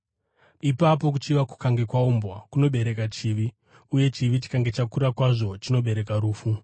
Ipapo kuchiva kukange kwaumbwa kunobereka chivi; uye chivi, chikange chakura kwazvo, chinobereka rufu.